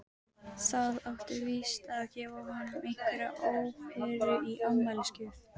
Það átti víst að gefa honum einhverja óperu í afmælisgjöf.